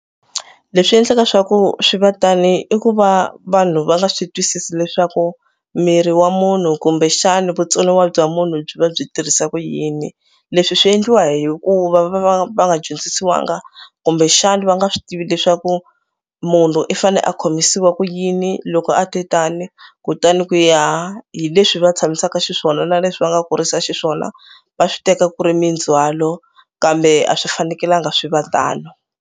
Leswi endlaka swa ku swi va tani i ku va vanhu va nga swi twisisi leswaku miri wa munhu kumbexani vutsoniwa bya munhu byi va byi tirhisa ku yini. Leswi swi endliwa hikuva va va va nga dyondzisiwangi kumbexana va nga swi tivi leswaku munhu i fanele a khomisiwa ku yini loko a te tani kutani ku ya hi leswi va tshamisaka xiswona na leswi va nga kurisa xiswona va swi teka ku ri mindzhwalo kambe a swi fanekelanga swi va tano.